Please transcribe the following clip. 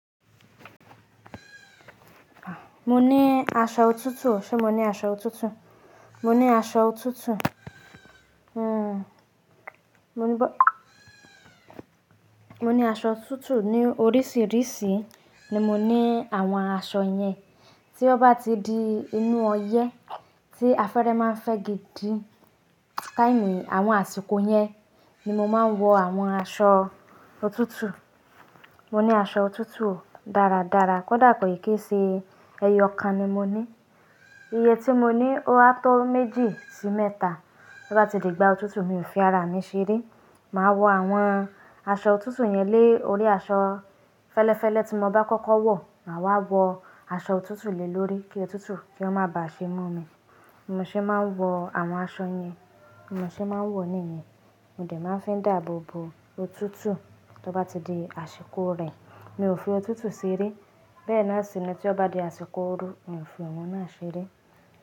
Mo ní aṣọ òtútù, ṣe mo ní aṣọ òtútù? Mo ní aṣọ òtútù. Hmm. Mo ní ba-- mo ní aṣọ òtútù ní oríṣìíríṣìí ni mo ní àwọn aṣọ yẹn. Tí ó bá ti di inú ọyẹ́ tí afẹ́fẹ́ máa ń fẹ́ gidi, káìní àwọn àsìkò yẹn ni mo máa ń wọ àwọn aṣọ òtútù. Mo ní aṣọ òtútù dáradára, kódà pé kì í ṣe ẹyọ kan ni mo ní. Iye tí mo ní á tó méjì sí mẹ́ta. Bí ó bá ti di ìgbà òtútù, mi ò fi ara mi ṣeré. Màá wọ àwọn aṣọ òtútù yẹn lé orí aṣọ fẹ́lẹ́fẹ́lẹ́ tí mo bá kọ́kọ́ wọ̀, màá wá wọ àṣọ òtútù lé lórí kí òtútù kí ó má bà á ṣe mú mi. Mo ṣe máa ń wọ àwọn aṣọ yẹn, mo ṣe máa ń wọ̀ níyẹn. Mo de máa ń fín dààbò bo òtútù. Tí ó bá ti di àsìkò rẹ̀, mi ò fi òtútù ṣeré. Bẹ́ẹ̀ náà sì ni tí ó bá di àsìkò ooru, mi ò fi ọ̀wọ́n náà ṣeré.